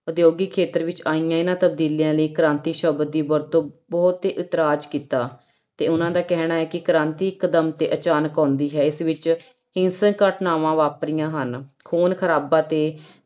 ਉਦਯੋਗਿਕ ਖੇਤਰ ਵਿੱਚ ਆਈਆਂ ਇਹਨਾਂ ਤਬਦੀਲੀਆਂ ਲਈ ਕ੍ਰਾਂਤੀ ਸ਼ਬਦ ਦੀ ਵਰਤੋਂ ਉੱਤੇ ਇਤਰਾਜ਼ ਕੀਤਾ ਤੇ ਉਹਨਾਂ ਦਾ ਕਹਿਣਾ ਸੀ ਕਿ ਕ੍ਰਾਂਤੀ ਇਕਦਮ ਤੇ ਅਚਾਨਕ ਆਉਂਦੀ ਹੈ ਅਤੇ ਇਸ ਵਿੱਚ ਹਿੰਸਕ ਘਟਨਾਵਾਂ ਵਾਪਰੀਆਂ ਹਨ ਖੂਨ ਖਰਾਬਾ ਤੇ